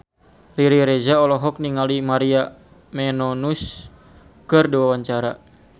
Riri Reza olohok ningali Maria Menounos keur diwawancara